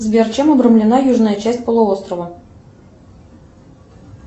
сбер чем обрамлена южная часть полуострова